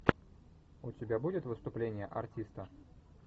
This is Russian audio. у тебя будет выступление артиста